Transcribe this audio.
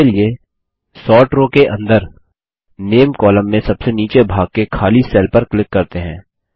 इसके लिए sort row के अंदर नामे कॉलम में सबसे नीचे भाग के खाली सेल पर क्लिक करते हैं